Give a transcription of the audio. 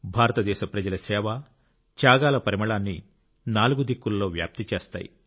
భారతదేశ ప్రజల సేవ త్యాగాల పరిమళాన్ని నాలుగు దిక్కుల్లో వ్యాప్తి చేస్తాయి